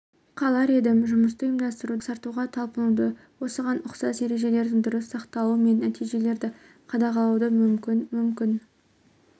қалар едім жұмысты ұйымдастыруды жақсартуға талпынуды осыған ұқсас ережелердің дұрыс сақталуы мен нәтижелерді қадағалауды мүмкін мүмкін